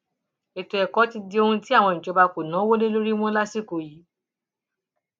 ètò ẹkọ ti di ohun tí àwọn ìjọba kò náwó lé lórí mọ lásìkò yìí